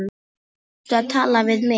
Varstu að tala við mig?